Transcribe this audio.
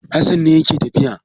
Hassan ne yake tafiya.